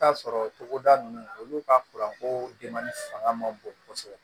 Taa sɔrɔ togoda nunnu olu ka ko denbali fanga man bon kosɛbɛ